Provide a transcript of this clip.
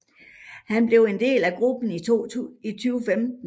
Han blev en del af gruppen i 2015